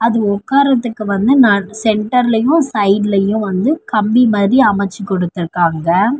அது உக்காரத்துக்கு வந்து நட் சென்டர்லயூ சைடுலையு வந்து கம்பி மாதி அமைச்சு குடுத்துருக்காங்க.